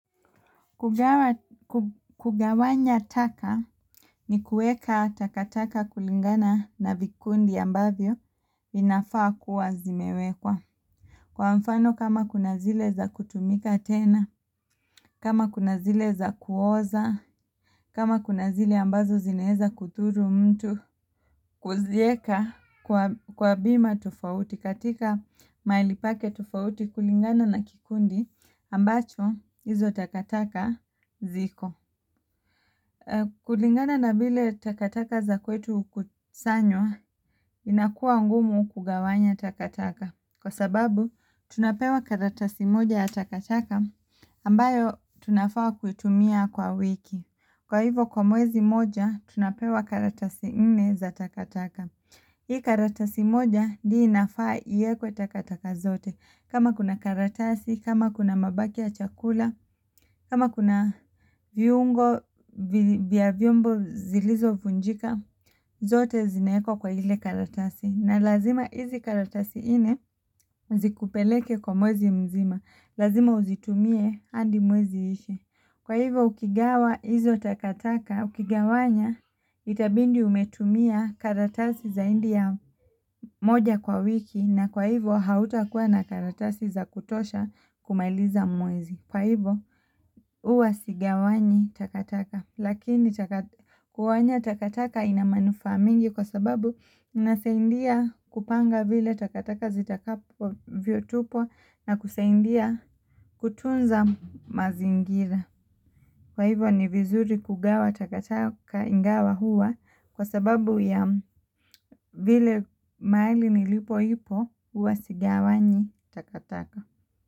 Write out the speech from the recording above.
Kugawanya taka ni kueka takataka kulingana na vikundi ambavyo inafaa kuwa zimewekwa. Kwa mfano kama kuna zile za kutumika tena, kama kuna zile za kuoza, kama kuna zile ambazo zinaweza kudhuru mtu kuziweka kwa bima tofauti katika mahali pake tofauti kulingana na kikundi ambacho hizo takataka ziko. Kulingana na vile takataka za kwetu hukusanywa inakuwa ngumu kugawanya takataka Kwa sababu tunapewa karatasi moja ya takataka ambayo tunafaa kuitumia kwa wiki. Kwa hivo kwa mwezi mmoja, tunapewa karatasi nne za takataka Hii karatasi moja ndiyo inafaa iwekwe takataka zote. Kama kuna karatasi, kama kuna mabaki ya chakula, kama kuna viungo vya vyombo zilizovunjika, zote zinawekwa kwa ile karatasi. Na lazima hizi karatasi nne zikupeleke kwa mwezi mzima. Lazima uzitumie hadi mwezi uishe. Kwa hivyo ukigawa hizo takataka, ukigawanya itabidi umetumia karatasi zaidi ya moja kwa wiki na kwa hivyo hautakuwa na karatasi za kutosha kumaliza mwezi. Kwa hivyo huwa sigawanyi takataka, lakini kugawanya takataka ina manufaa mengi kwa sababu inasaidia kupanga vile takataka zitakavyotupwa na kusaidia kutunza mazingira. Kwa hivyo ni vizuri kugawa takataka ingawa huwa kwasababu ya vile mahali nilipo ipo huwa sigawanyi takataka.